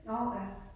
Nåh ja